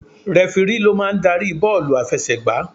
Rẹfirí ló máa ń darí bọ́ọ̀lù àfẹsẹ̀ gbà.